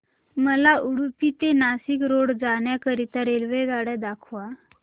मला उडुपी ते नाशिक रोड जाण्या करीता रेल्वेगाड्या दाखवा